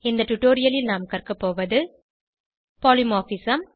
இந்த டுடோரியலில் நாம் கற்கபோவது பாலிமார்பிசம்